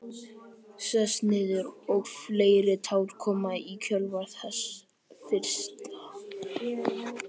Sest niður og fleiri tár koma í kjölfar þess fyrsta.